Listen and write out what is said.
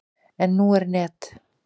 En nú er net.